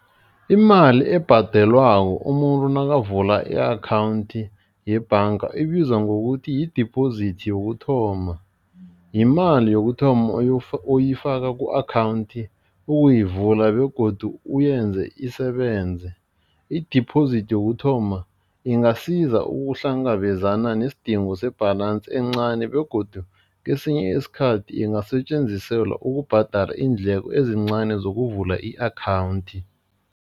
Imali ebhadelwako umuntu nakavula i-akhawundi yebhanga ibizwa ngokuthi yidibhozithi yokuthoma, yimali yokuthoma oyifaka ku-akhawundi ukuyivula begodu uyenze isebenze, i-deposit yokuthoma ingasiza ukuhlangabezana nesidingo se-balance encani begodu kesinye isikhathi ezingasetjenziselwa ukubhadala iindleko ezincani zokuvula i-akhawundi.